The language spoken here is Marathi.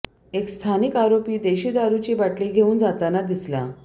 एक स्थानिक आरोपी देशी दारूची बाटली घेऊन जाताना दिसला